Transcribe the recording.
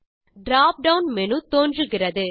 drop down menu தோன்றுகிறது